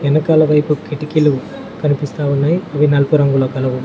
వెనకాల వైపు కిటికీలు కనిపిస్తా ఉన్నాయి అవి నలుపు రంగులో కలవు.